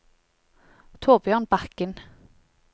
Thorbjørn Bakken